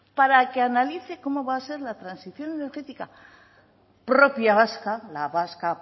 para que analice cómo va a hacer la transición energética propia vasca la vasca